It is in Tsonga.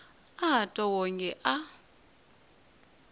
a a twa wonge a